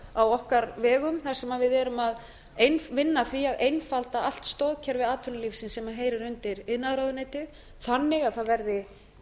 á okkar vegum þar sem við erum að vinna að því að einfalda allt stoðkerfi atvinnulífsins sem heyrir undir iðnaðarráðuneytið þannig að það verði